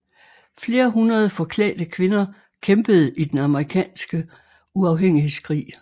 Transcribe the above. Flere hundrede forklædte kvinder kæmpede i den amerikanske uafhængighedskrig